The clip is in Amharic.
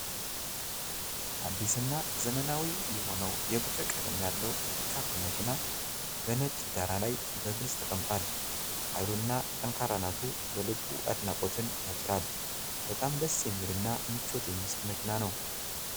አዲስና ዘመናዊ የሆነው የብር ቀለም ያለው ፒክአፕ መኪና በነጭ ዳራ ላይ በግልጽ ተቀምጧል። ኃይሉና ጠንካራነቱ በልቡ አድናቆትን ያጭራል። በጣም ደስ የሚልና ምቾት የሚሰጥ መኪና ነው።